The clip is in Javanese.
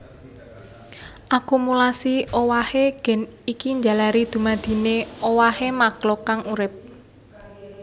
Akumulasi owahé gen iki njalari dumadine owahé makhluk kang urip